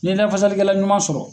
N'i ye lafasalikɛla ɲuman sɔrɔ